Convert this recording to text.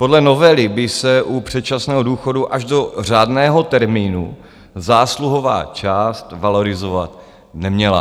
Podle novely by se u předčasného důchodu až do řádného termínu zásluhová část valorizovat neměla.